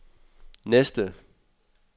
næste